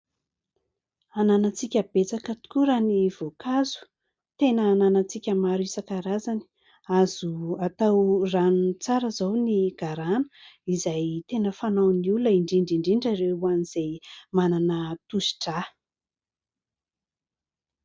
Ananantsika betsaka tokoa raha ny voankazo, tena ananantsika maro isan-karazany. Azo atao ranony tsara izao ny garana izay tena fanaon'ny olona indrindra indrindra ireo ho an'izay manana tosidra.